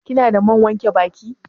Kina da man wanke baki?